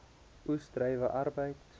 oes druiwe arbeid